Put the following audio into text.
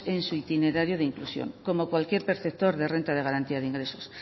en su itinerario de inclusión omo cualquier perceptor de renta de garantía de ingresos